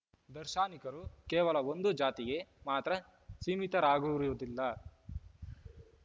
ದಾರ್ಶನಿಕರು ಕೇವಲ ಒಂದು ಜಾತಿಗೆ ಮಾತ್ರ ಸೀಮಿತರಾಗಿರುವುದಿಲ್ಲ